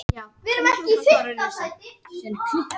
Frekari fróðleikur á Vísindavefnum: Hvað er laxsíld?